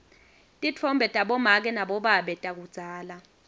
titfombe tabomake nabobabe takudzala